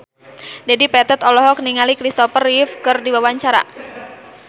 Dedi Petet olohok ningali Kristopher Reeve keur diwawancara